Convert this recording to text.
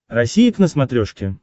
россия к на смотрешке